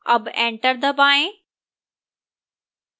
अब enter दबाएं